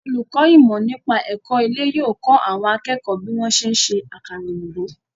Olùkọ́ ìmọ̀-nípa-ẹ̀kọ́ ilé yóò kọ́ àwọn akẹ́kọ̀ọ́ bí wọ́n ṣe ń ṣe àkàrà-òyìbó.